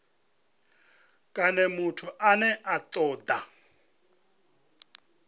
kana muthu ane a toda